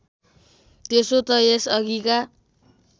त्यसो त यसअघिका